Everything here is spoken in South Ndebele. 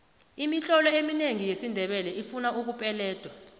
imitlolo eminengi yesindebele ifuna ukupeledwa